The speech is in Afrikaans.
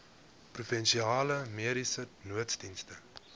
provinsiale mediese nooddienste